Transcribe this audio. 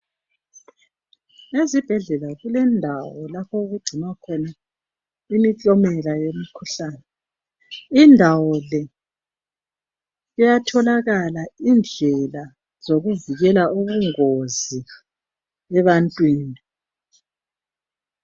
Ezibhedlela kulendawo lapho okugcinwa khona amasampula embangela yimikhuhlane. Ilusizo kakhulu ngoba iyavikela ubungozi bokugula abantu abangahlangana lakho.